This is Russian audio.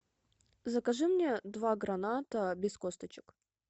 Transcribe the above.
закажи мне два граната без косточек